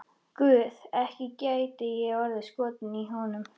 Guð, ekki gæti ég orðið skotin í honum.